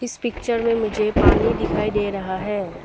इस पिक्चर में मुझे पानी दिखाई दे रहा है।